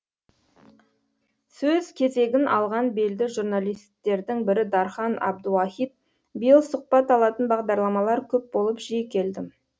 сөз кезегін алған белді журналисттердің бірі дархан абдуахит биыл сұқбат алатын бағдарламалар көп болып жиі келдім